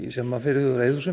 sem er fyrirhuguð á